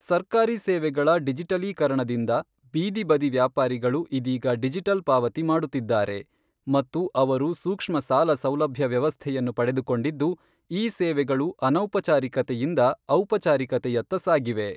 ಸರ್ಕಾರಿ ಸೇವೆಗಳ ಡಿಜಟಲೀಕರಣದಿಂದ ಬೀದಿ ಬದಿ ವ್ಯಾಪಾರಿಗಳು ಇದೀಗ ಡಿಜಿಟಲ್ ಪಾವತಿ ಮಾಡುತ್ತಿದ್ದಾರೆ ಮತ್ತು ಅವರು ಸೂಕ್ಷ್ಮ ಸಾಲ ಸೌಲಭ್ಯ ವ್ಯವಸ್ಥೆಯನ್ನು ಪಡೆದುಕೊಂಡಿದ್ದು, ಈ ಸೇವೆಗಳು ಅನೌಪಚಾರಿಕತೆಯಿಂದ ಔಪಚಾರಿಕತೆಯತ್ತ ಸಾಗಿವೆ.